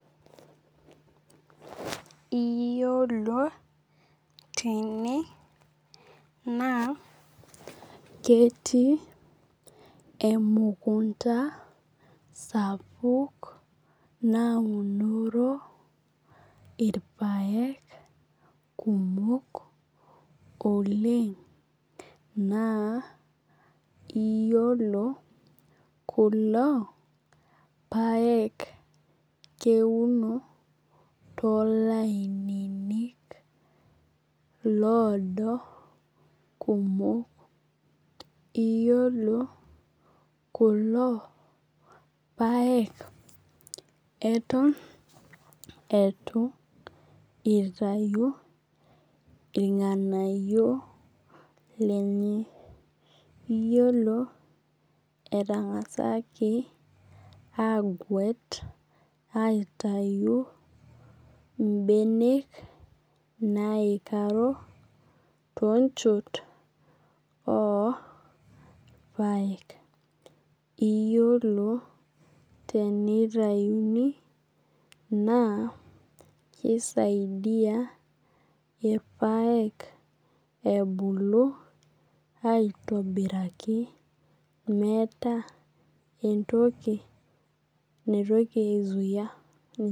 Iyiolo tene naa ketii emukunta sapuk naunoro irpaek kumok oleng' naa iyiolo kulo paek keuno too ilaninik lodo kumok. Iyiolo kulo paek eton eitu itayu irng'anayio lenye. Iyiolo etang'asaki aguet aitayu ibenek naikaro too nchot orpaek. Iyiolo tenitayuni naa kii saidia irpaek ebulu aitobiraki meeta entoki naitoki ai zuia ninche.